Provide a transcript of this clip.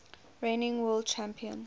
reigning world champion